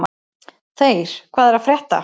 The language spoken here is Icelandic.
Þeyr, hvað er að frétta?